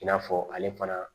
I n'a fɔ ale fana